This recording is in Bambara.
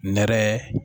Nɛrɛ